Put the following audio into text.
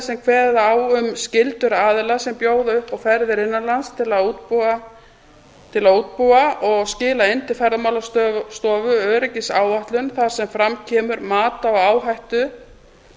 sem kveða á um skyldur aðila sem bjóða upp á ferðir innan lands til að útbúa og skila inn til ferðamálastofu öryggisáætlun þar sem fram kemur mat á áhættu